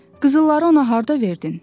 Qızılları ona harda verdin?